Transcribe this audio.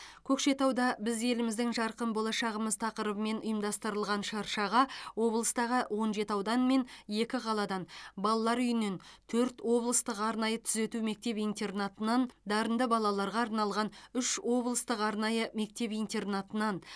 көкшетауда біз еліміздің жарқын болашағымыз тақырыбымен ұйымдастырылған шыршаға облыстағы он жеті аудан мен екі қаладан балалар үйінен төрт облыстық арнайы түзету мектеп интернатынан дарынды балаларға арналған үш облыстық арнайы мектеп интернатынан